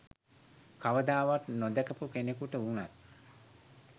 කවදාවත් නොදැකපු කෙනෙකුට වුනත්